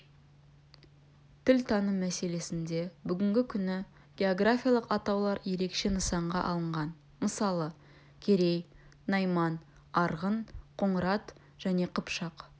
тіл таным мәселесінде бүгінгі күні географиялық атаулар ерекше нысанға алынған мысалы керей найман арғын қоңырат және қыпшақ